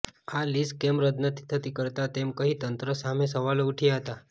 આ લીઝ કેમ રદ નથી કરતા તેમ કહી તંત્ર સામે સવાલો ઉઠાવ્યા હતા